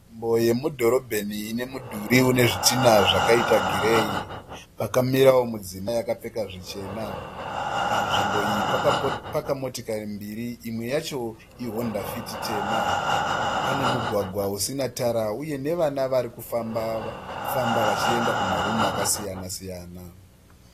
Nzvimbo yemudhorobheni ine midhuri une zvitinha zvakaita gireyi. Pakamirawo mudzimai akapfeka zvichena. Panzvimbo iyi pakapaka motokari mbiri. Imwe yacho iHonda Fit tema. Pane mugwagwa usina tara uye nevana vari kufamba vachienda kumarumhu akasiyana-siyana.